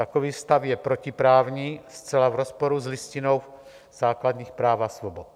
Takový stav je protiprávní, zcela v rozporu s Listinou základních práv a svobod.